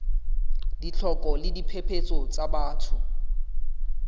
ditlhoko le diphephetso tsa batho